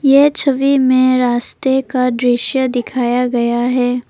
ये छवि में रास्ते का दृश्य दिखाया गया है।